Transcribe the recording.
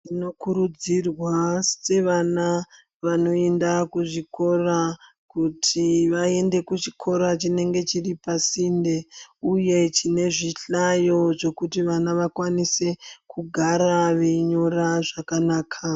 Tinokurudzirwa sevana vanoenda kuzvikora kuti vaende kuchikora chinenge chiri pasinde. Uye chine zvihlayo zvekuti vana vakwanise kugara veinyora zvakanaka.